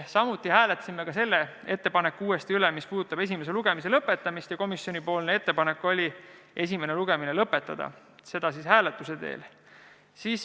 Samuti hääletasime selle ettepaneku uuesti üle, mis puudutab esimese lugemise lõpetamist, ja komisjoni ettepanek oli esimene lugemine lõpetada, selleni jõuti hääletuse teel.